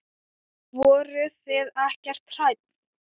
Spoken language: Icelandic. Voruð þið ekkert hrædd?